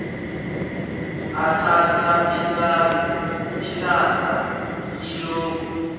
athatha ihlandla kilokhu